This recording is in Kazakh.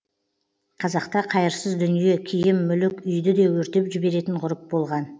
қазақта қайырсыз дүние киім мүлік үйді де өртеп жіберетін ғұрып болған